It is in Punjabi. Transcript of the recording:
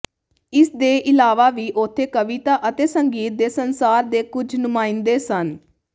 ਇਸ ਦੇ ਇਲਾਵਾ ਵੀ ਉੱਥੇ ਕਵਿਤਾ ਅਤੇ ਸੰਗੀਤ ਦੇ ਸੰਸਾਰ ਦੇ ਕੁਝ ਨੁਮਾਇੰਦੇ ਸਨ